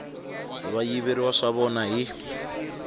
va yiveriwa swa vona hi